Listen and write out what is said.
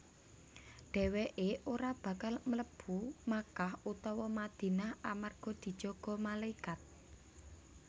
Dhèwèké ora bakal mlebu Makkah utawa Madinah amarga dijaga malaikat